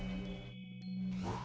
í